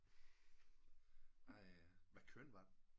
Ej hvad køn var den